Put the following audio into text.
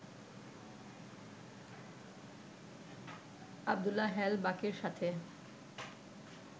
আব্দুল্লাহ হেল বাকীর সাথে